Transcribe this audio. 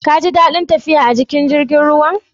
Kin ji dadin tafiya a cikin jirigin ruwan?